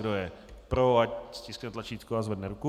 Kdo je pro, ať stiskne tlačítko a zvedne ruku.